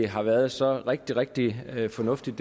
har været så rigtig rigtig fornuftigt